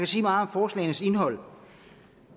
sige meget om forslagenes indhold og